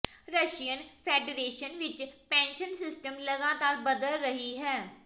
Russian federation ਵਿੱਚ pension system ਲਗਾਤਾਰ ਬਦਲ ਰਹੀ ਹੈ